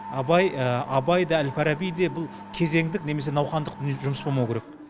абай абай да әл фараби де бұл кезеңдік немесе науқандық жұмыс болмау керек